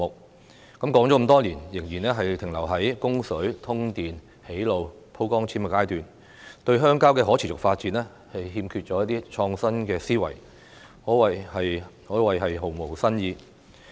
說了這麼多年，仍然停留在供水、通電、建路、鋪光纖的階段，對鄉郊的可持續發展欠缺一些創新思維，可謂毫無新意。